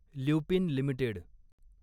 Lupin limited